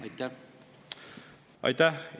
Aitäh!